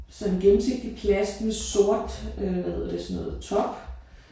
Sådan gennemsigtig plast med sort øh hvad hedder det sådan noget top